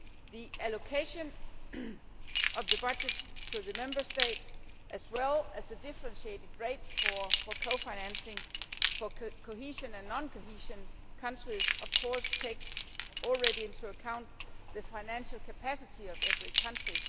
The allocation of the budget to the Member States, as well as the differentiated rates for cofinancing for cohesion and non cohesion countries, does of course already take into account the financial capacity of every country.